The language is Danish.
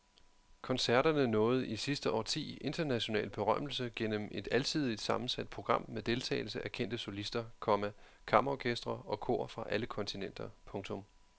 Koncerterne nåede i sidste årti international berømmelse gennem et alsidigt sammensat program med deltagelse af kendte solister, komma kammerorkestre og kor fra alle kontinenter. punktum